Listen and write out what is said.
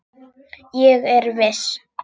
Ég er viss.